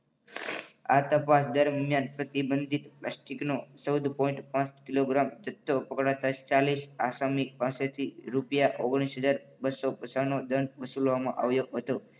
આ તપાસ દરમિયાન પ્રતિબંધિત પ્લાસ્ટિકનો ચૌદ point પાંચ કિલોગ્રામ જથ્થો પકડાતા ચાલીસ આસમી પાસેથી રૂપિયા ઓગણીસ હજાર બસો પચાસનો દંડ વસૂલવામાં આવ્યો હતો.